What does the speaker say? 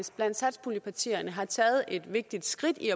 blandt satspuljepartierne har taget et vigtigt skridt i